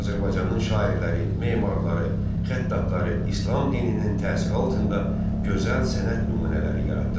Azərbaycanın şairləri, memarları, xəttatları İslam dininin təsiri altında gözəl sənət nümunələri yaratdılar.